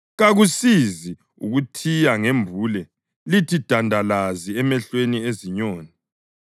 Kakusizi ukuthiya ngembule lithe dandalazi emehlweni ezinyoni!